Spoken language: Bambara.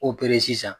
Opereli sisan